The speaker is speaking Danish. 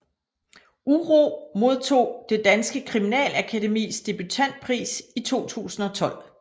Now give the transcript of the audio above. Uro modtog Det Danske Kriminalakademis debutantpris i 2012